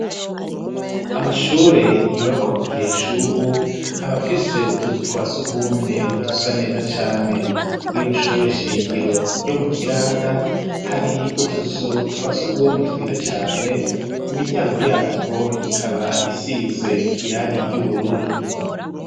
Amashure, yubakwa mu gihe c'ubu, aba afise utuzu twa surwumwe, dusa neza cane; kuri rino shure shingiro, ryo mu Kiranda, hari utuzu twa surwugumwe, twiza cane; imiryango yatwo, ikaba isize irangi ry'ubururu.